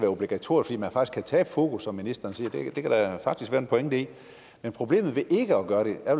obligatorisk kan tabe fokus som ministeren siger det kan der faktisk være en pointe i men problemet ved ikke at gøre det er